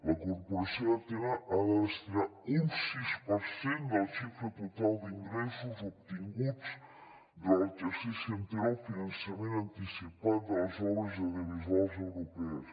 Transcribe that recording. la corporació ha de destinar un sis per cent de la xifra total d’ingressos obtinguts durant l’exercici anterior al finançament anticipat de les obres audiovisuals europees